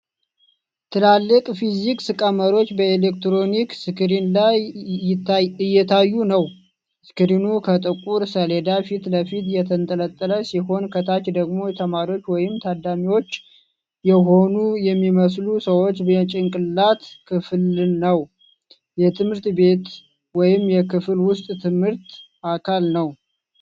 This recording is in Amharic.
ትላልቅ ፊዚክስ ቀመሮች በኤሌክትሮኒክ ስክሪን ላይ እየታዩ ነው። ስክሪኑ ከጥቁር ሰሌዳ ፊት ለፊት የተንጠለጠለ ሲሆን፣ ከታች ደግሞ ተማሪዎች ወይም ታዳሚዎች የሆኑ የሚመስሉ ሰዎች የጭንቅላት ክፍልነው። የትምህርት ቤት ወይም የክፍል ውስጥ ትምህርት አካል ነው።